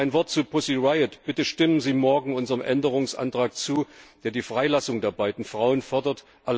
Noch ein Wort zu Pussy Riot Bitte stimmen Sie morgen unserem Änderungsantrag zu, der die Freilassung der beiden Frauen fordert!